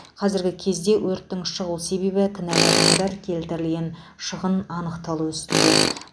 қазіргі кезде өрттің шығу себебі кінәлі адамдар келтірілген шығын анықталу үстінде